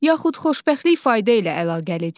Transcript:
Yaxud xoşbəxtlik fayda ilə əlaqəlidir?